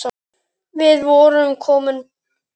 Við vorum komin heim.